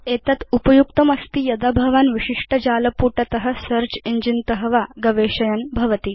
एषा चेष्टा उपयुक्ता अस्ति यदा भवान् विशिष्ट जालपुटात् सेऽर्च इञ्जिन त वा गवेषयन् भवति